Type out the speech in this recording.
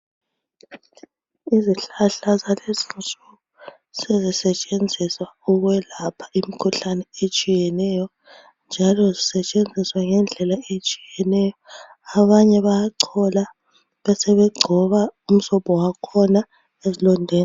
Izihlahla zalezinsuku sezisetshenziswa ukwelapha imkhuhlane etshiyeneyo njalo zisetshenziswa ngendlela etshiyeneyo abanye bayachola besebegcoba umsobho wakhona esilondeni.